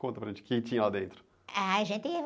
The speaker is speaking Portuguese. Conta para a gente o quê que tinha lá dentro.h, a gente...